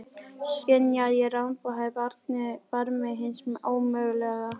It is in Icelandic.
Skynja að ég ramba á barmi hins ómögulega.